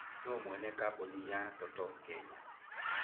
Nũũ mwene kambuni ya Total Kenya?